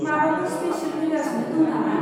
माबाफोर स्पिसेल फैगासिनो दं नामा?